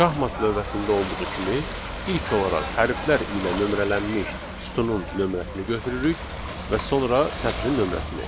Şahmat lövhəsində olduğu kimi ilk olaraq hərflər ilə nömrələnmiş sütunun nömrəsini götürürük və sonra sətrin nömrəsini.